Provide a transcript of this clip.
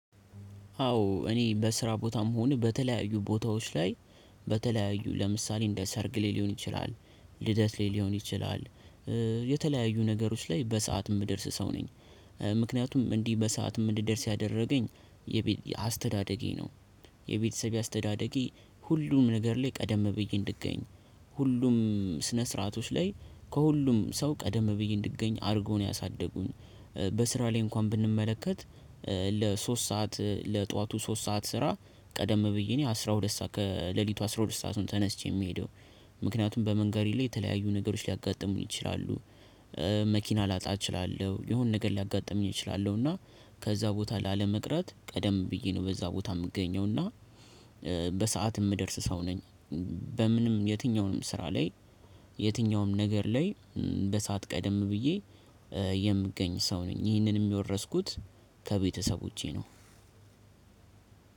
አዎ እኔ በስራ ቦታም ሆነ በተለያዩ ቦታዎች ላይ በተለያዩ ለምሳሌ እንደ ሰርግ ላይ ሊሆን ይችላል ልደት ላይ ሊሆን ይችላል የተለያዩ ነገሮች ላይ በሰአት የምደርስ ሰው ነኝ። ምክንያቱም እንዲህ በሰአትም እንድደርስ ያደረገኝ የቤት አስተዳደጌ ነው። የቤተሰቤ አስተዳደጌ ሁሉን ሁሉም ነገር ላይ ቀደም ብዬ እንድገኝ ሁሉም ስነ ስርዓቶች ላይ ከሁሉም ሰው ቀደም ብዬ እንድገኝ አድርገው ነው ያሳደጉኝ። በስራ ላይ እንኳን ብንመለከት። ለሶስት ሰዓት ለጠዋቱ ሶስት ሰዓት ስራ ቀደም ብዬ እኔ አስራ ሁለት ሰዓት ከሌሊቱ አስራ ሁለት ሰአቱን ተነስቼ የምሄደው ምክንያቱም በመንገዴ ላይ የተለያዩ ነገሮች ሊያጋጥሙኝ ይችላሉ። መኪና ላጣ እችላለሁ የሆነ ነገር ሊያጋጥሙኝ እችላለሁ። እና ከዛ ቦታ ላለመቅረት ቀደም ብዬ ነው በዛ ቦታ የምገኘው እና በሰአት የምደርስ ሰው ነኝ። በምንም የትኛውንም ስራ ላይ የትኛውንም ነገር ላይ በሰአት ቀደም ብዬ የምገኝ ሰው ነኝ ይህንንም የወረስኩት ከቤተሰቦቼ ነው።